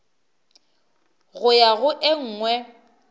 go ya go e nngwe